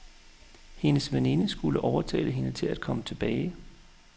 Hendes veninde skulle overtale hende til at komme tilbage.